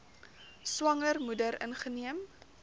swanger moeder ingeneem